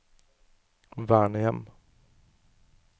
vernehjem